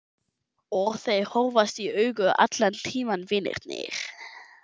Og þeir horfast í augu allan tímann vinirnir.